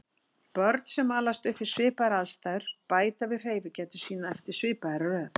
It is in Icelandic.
Börn sem alast upp við svipaðar aðstæður bæta við hreyfigetu sína eftir svipaðri röð.